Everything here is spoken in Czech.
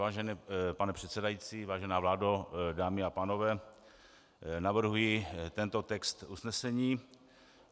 Vážený pane předsedající, vážená vládo, dámy a pánové, navrhuji tento text usnesení.